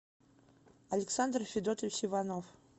александр федотович иванов